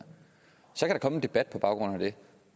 så kan en debat på baggrund af det